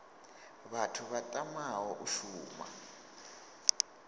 vhathu vha tamaho u shuma